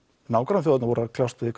nágrannaþjóðirnar voru að kljást við